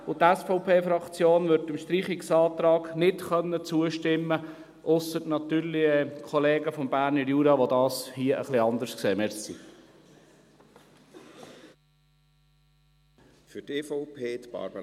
Die SVP-Fraktion wird dem Streichungsantrag nicht zustimmen können, ausgenommen natürlich die Kollegen aus dem Berner Jura, die das etwas anders sehen.